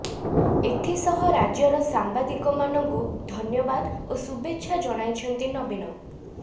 ଏଥିସହ ରାଜ୍ୟର ସାମ୍ବାଦିକମାନଙ୍କୁ ଧନ୍ୟବାଦ ଓ ଶୁଭେଚ୍ଛା ଜଣାଇଛନ୍ତି ନବୀନ